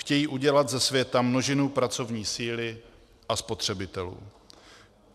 Chtějí udělat ze světa množinu pracovní síly a spotřebitelů.